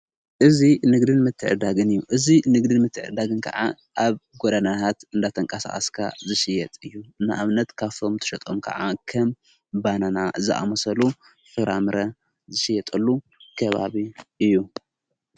እዙ ንግድን መትዕዳግን እዩ እዙይ ንግድን ምትዕዳግን ከዓ ኣብ ጐዳናሃት እንዳተንቃሣኣስካ ዝስየጥ እዩ እንኣምነት ካፎም ተሸጦም ከዓ ከም ባናና ዝኣሞሰሉ ፍራምረ ዝስየጠሉ ከባብ እዩ።